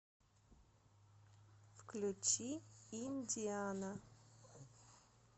включи индиана